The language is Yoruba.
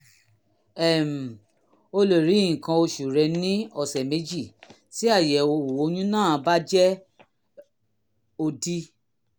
um o lè rí nǹkan oṣù rẹ ní ọ̀sẹ̀ méjì tí àyẹ̀wò oyún náà bá jẹ́ òdì